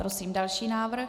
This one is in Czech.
Prosím další návrh.